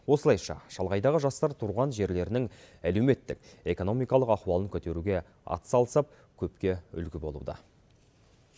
осылайша шалғайдағы жастар туған жерлерінің әлеуметтік экономикалық ахуалын көтеруге атсалысып көпке үлгі болуда